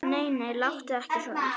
Nei, nei, láttu ekki svona.